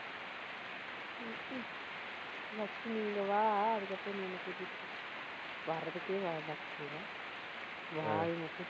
first நீ இங்க வா அஹ் அதுக்கப்புறம் நீ என்னை கூட்டிட்டு போ. வர்றதுக்கே வ~ வக்கில்லை வாய் மட்டும்